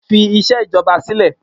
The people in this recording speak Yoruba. Fi iṣẹ́ ìjọba sílẹ̀.